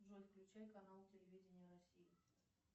джой включи канал телевидения россия